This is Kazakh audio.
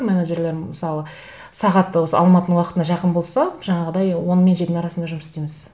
менеджерлер мысалы сағаты осы алматының уақытына жақын болса жаңағыдай он мен жетінің арасында жұмыс істейміз